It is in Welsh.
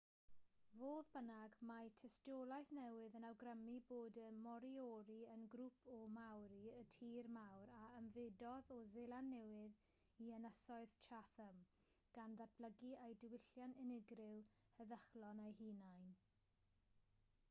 fodd bynnag mae tystiolaeth newydd yn awgrymu bod y moriori yn grŵp o maori y tir mawr a ymfudodd o seland newydd i ynysoedd chatham gan ddatblygu eu diwylliant unigryw heddychlon eu hunain